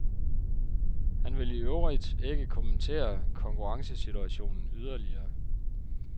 Han vil iøvrigt ikke kommentere konkurrencesituationen yderligere.